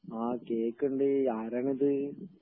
ങാ, കേക്കണ്ണ്ട്, ആരാണിത്??